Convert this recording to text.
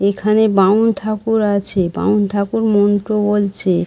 এখানে বামুন ঠাকুর আছে। বামুন ঠাকুর মন্ত্র বলছে।